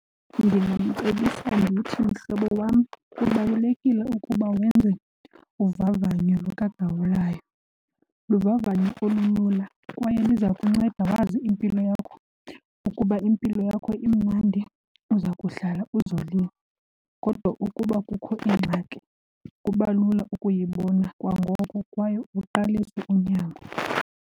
Ndingamcebisa ndithi, mhlobo wam, kubalulekile ukuba wenze uvavanyo lukagawulayo. Luvavanyo olulula kwaye liza kunceda wazi impilo yakho. Ukuba impilo yakho imnandi uza kuhlala uzolile kodwa ukuba kukho ingxaki kuba lula ukuyibona kwangoko kwaye uqalise unyango.